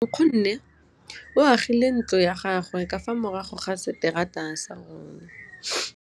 Nkgonne o agile ntlo ya gagwe ka fa morago ga seterata sa rona.